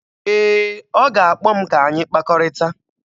Ee, ọ ga-akpọ m ka anyị kpakọrịta